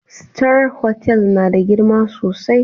Star Hotel na da girma sosai.